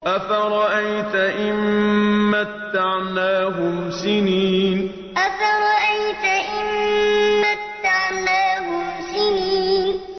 أَفَرَأَيْتَ إِن مَّتَّعْنَاهُمْ سِنِينَ أَفَرَأَيْتَ إِن مَّتَّعْنَاهُمْ سِنِينَ